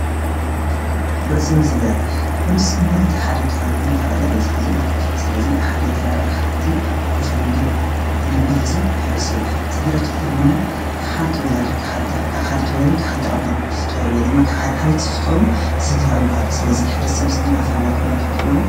ኅርስም ሥድራት ፍርስም ማለት ሓደ ኻብኖ ጠቓላ በዝኂዝ ማልት ስለዙይ ሓደ ጋ ሓቲ ወሸድነር ብነብር ሕዙይ ሕርሱ ይባል ሥድራት ተለረማ ክሓንቲ ወላድሓንቲ ወላድ ክሓንቲ ኣቦን ዝፍጦሩወይ ድማ ኽሓደ ኃነት ዝፍጦሩ ሥድራዊ ምሃል ስለዙይ ኅርስም ሥድር ኣፈላልቱ ትፍልጥዎዶ?